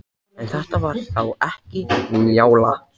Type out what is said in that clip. En þetta var þá ekki Njála.